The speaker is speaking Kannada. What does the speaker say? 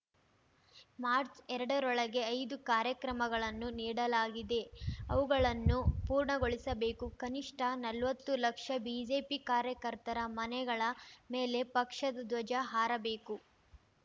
ಮಾರ್ಚ್ಎರಡರೊಳಗೆ ಐದು ಕಾರ್ಯಕ್ರಮಗಳನ್ನು ನೀಡಲಾಗಿದೆ ಅವುಗಳನ್ನು ಪೂರ್ಣಗೊಳಿಸಬೇಕು ಕನಿಷ್ಠ ನಲ್ವತ್ತು ಲಕ್ಷ ಬಿಜೆಪಿ ಕಾರ್ಯಕರ್ತರ ಮನೆಗಳ ಮೇಲೆ ಪಕ್ಷದ ಧ್ವಜ ಹಾರಬೇಕು